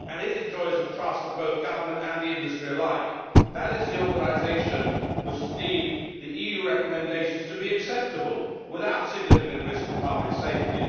It enjoys the trust of both government and the industry. That is the organisation which has deemed the EU recommendations to be acceptable, without significant risk to public safety.